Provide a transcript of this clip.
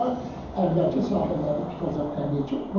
Əvvəlki sahillərini tutacaq təbii ki.